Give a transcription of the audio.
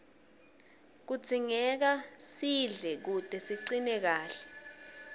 kudzingeka sidle kute sicine kahle